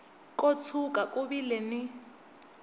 ko tshuka ku vile ni